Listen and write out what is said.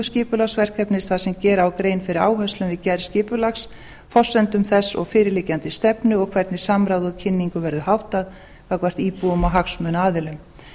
skipulagsverkefnis þar sem gera á grein fyrir áherslum við gerð skipulags forsendum þess og fyrirliggjandi stefnu og hvernig samráð og kynningu verði háttað gagnvart íbúum og hagsmunaaðilum